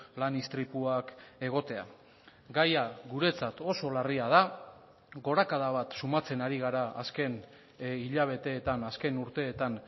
lan istripuak egotea gaia guretzat oso larria da gorakada bat sumatzen ari gara azken hilabeteetan azken urteetan